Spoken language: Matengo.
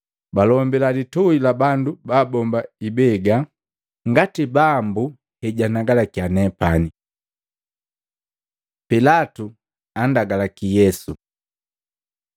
balombila litui la bandu babomba ibega, ngati Bambu hejanagalakiya nepani.” Pilatu andaluki Yesu Maluko 15:2-5; Luka 23:3-5; Yohana 18:33-38